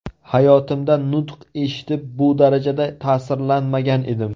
Hayotimda nutq eshitib, bu darajada ta’sirlanmagan edim.